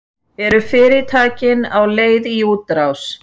Eru fyrirtækin á leið í útrás?